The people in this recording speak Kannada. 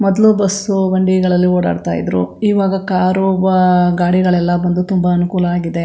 ಮೊದ್ಲು ಬಸ್ಸು ಬಂಡಿಗಳಲ್ಲಿ ಓಡಾಡ್ತ ಇದ್ರು ಈವಾಗ ಕಾರು ಬ ಗಾಡಿಗಳೆಲ್ಲಾ ಬಂದು ತುಂಬಾ ಅನುಕೂಲ ಆಗಿದೆ.